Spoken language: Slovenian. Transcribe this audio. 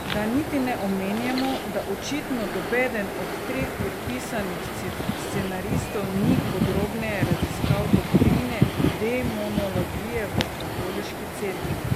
Da niti ne omenjamo, da očitno nobeden od treh podpisanih scenaristov ni podrobneje raziskal doktrine demonologije v Katoliški cerkvi.